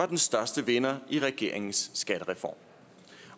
den største vinder i regeringens skattereform